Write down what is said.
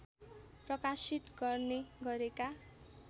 प्रकाशित गर्ने गरेका